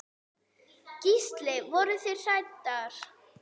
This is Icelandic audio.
Gísli: Voruð þið hræddar?